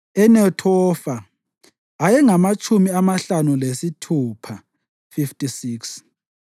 eNethofa ayengamatshumi amahlanu lasithupha (56),